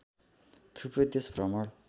थुप्रै देश भ्रमण